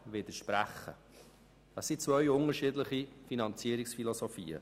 Es handelt sich um zwei unterschiedliche Finanzierungsphilosophien.